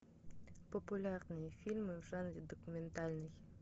популярные фильмы в жанре документальный